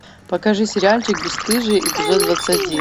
покажи сериальчик бесстыжие эпизод двадцать один